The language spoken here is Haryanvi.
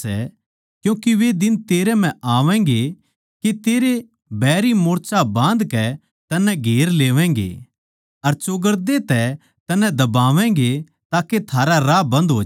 क्यूँके वे दिन तेरै म्ह आवैगें के तेरे बैरी मोर्चा बाँधकै तन्नै घेर लेवैगें अर चौगरदे तै तन्नै दबावैंगें ताके थारा राह बन्द होज्या